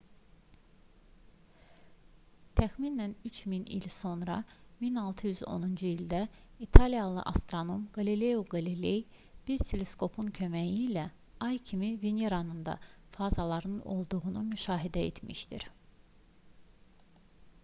təxminən 3000 il sonra 1610-cu ildə italiyalı astronom qalileo qaliley bir teleskopun köməyi ilə ay kimi veneranın da fazalarının olduğunu müşahidə etmişdir